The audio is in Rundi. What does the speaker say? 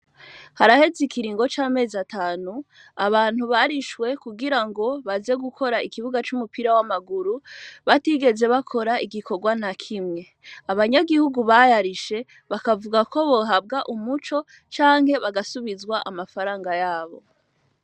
Haraheze ikiringo c'amezi atanu abantu barishwe kugira ngo baze gukora ikibuga c'umupira w'amaguru, batigeze bakora igikorwa na kimwe. Abanyagihugu bayarishe bakavuga ko bohabwa umuco canke bagasubizwa amafaranga yabo.